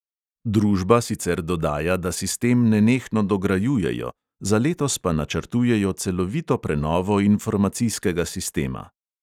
Družba sicer dodaja, da sistem nenehno dograjujejo, za letos pa načrtujejo celovito prenovo informacijskega sistema.